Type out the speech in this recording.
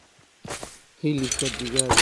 Hilibka digaaga waxa lagu iibiyaa qiimo jaban.